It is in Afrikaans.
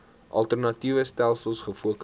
alternatiewe stelsels gefokus